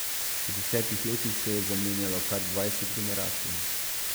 V desetih letih se je zamenjalo kar dvajset generacij.